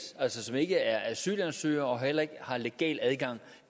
altså ikke er asylansøgere og heller ikke har legal adgang